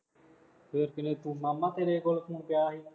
ਫੇਰ ਕਿਹਨੇ ਤੂੰ ਮਾਮਾ ਤੋੇਰੇ ਕੋਲ ਫੋਨ ਪਿਆ ਸੀ